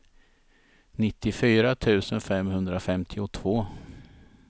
nittiofyra tusen femhundrafemtiotvå